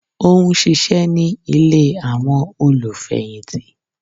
Ó n ṣíṣe ní Ilé àwọn olù fẹ̀yìntì